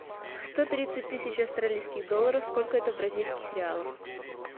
сто тридцать тысяч австралийских долларов сколько это в бразильских реалах